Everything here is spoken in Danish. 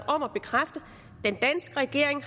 om at bekræfte at den danske regering